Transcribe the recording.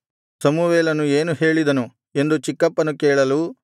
ಸಮುವೇಲನು ಏನು ಹೇಳಿದನು ಎಂದು ಚಿಕ್ಕಪ್ಪನು ಕೇಳಲು